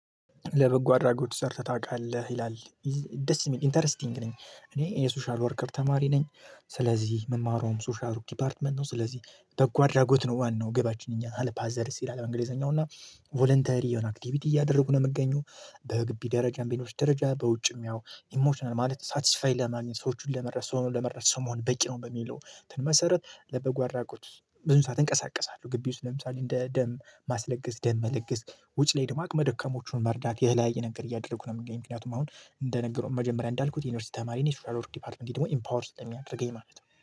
ለበጎ አድራጎት ሰርተህ ታውቃለህ ይላል። ደስ የሚል ኢንተረስቲንግ ነኝ እኔ የሶሻል ወርከር ተማሪ ነኝ። ስለዚህ ምማረዉም ሶሻል ዲፓርትመንት ነው ስለዚህ። ጓድራጉት ነው ዋናው ገባችን እኛን ሀለፓ ዘርስ ይላል እንግሊዘኛው እና ቮለንተሪ የሆነ አክቲቪቲ እያደረጉ ነው የምገኘው። በግቢ ደረጃ ቤኖች ደረጃ በውጭም ያው ኢሞሽናል ማለት ሳትስፋይ ለማግኘት ሰዎችን ለመረሳው ነው ለመረስ ሰው መሆን በቂ ነው። በሚለው መሰረት ለበጎ አራቁት ብዙ ሰዓት እንቀሳቀሳለሁ ግቢ ውስጥ ለምሳሌ እንደ ደም ማስለገስ ደም መለገስ። ውጭ ላይ ድማቅ መደከሞቹን መርዳት ይሄ ላይ የነገር እያደረጉ ነው የሚገኝ። ምክንያቱም አሁን እንደነገረው መጀመሪያ እንዳልኩት የዩኒቨርሲቲ ተማሪ ነኝ ወርክ ዲፓርትመንት ደግሞ ኢምፓወር ስለሚያደርገኝ ማለት ነው